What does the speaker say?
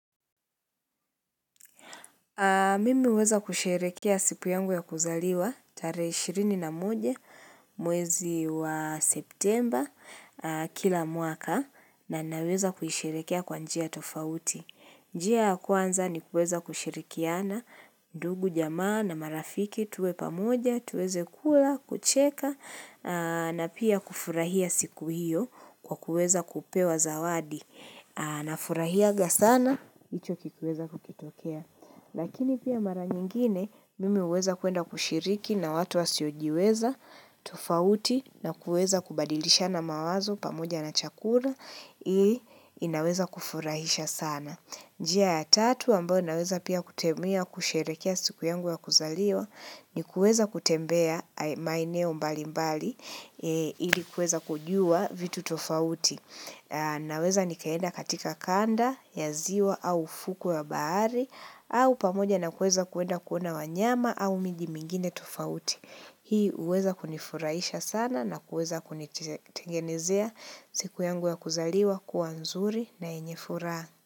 Mimi huweza kusherekea siku yangu ya kuzaliwa, tare 21, mwezi wa septemba, kila mwaka, na naweza kuisherekea kwa njia tofauti. Njia ya kwanza ni kuweza kushirikiana, ndugu, jamaa, na marafiki, tuwe pamoja, tuweze kula, kucheka, na pia kufurahia siku hiyo kwa kuweza kupewa zawadi. Anafurahiaga sana, hicho kikuweza kukitokea Lakini pia mara nyingine, mimi huweza kwwenda kushiriki na watu wasiojiweza tofauti na kuweza kubadilishana mawazo pamoja na chakura iIi, inaweza kufurahisha sana njia ya tatu, ambayo naweza pia kutemia kusherekea siku yangu ya kuzaliwa ni kueza kutembea maeneo mbali mbali Ili kuweza kujua vitu tofauti Naweza nikaenda katika kanda ya ziwa au fuku ya bahari au pamoja na kuweza kuenda kuona wanyama au miji mingine tofauti Hii huweza kunifuraisha sana na kueza kunitengenezea siku yangu ya kuzaliwa kuwa nzuri na yenye furaha.